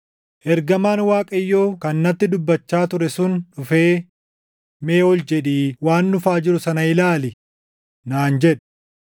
Ergamaan Waaqayyoo kan natti dubbachaa ture sun dhufee, “Mee ol jedhii waan dhufaa jiru sana ilaali” naan jedhe.